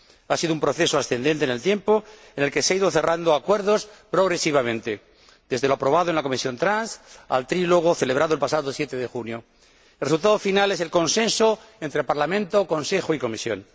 Ha sido un proceso ascendente en el tiempo, en el que se han ido cerrando acuerdos progresivamente, desde lo aprobado en la Comisión de Transportes al trílogo celebrado el pasado 7 de junio. El resultado final es el consenso entre Parlamento, Consejo y Comisión.